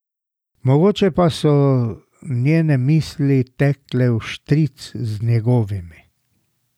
Mogoče pa so njene misli tekle vštric z njegovimi.